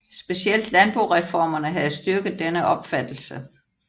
Specielt landboreformerne havde styrket denne opfattelse